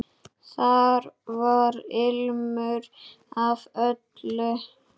Þar var ilmur af öllu.